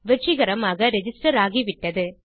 வெற்றிகரமாக ரிஜிஸ்டர் ஆகிவிட்டது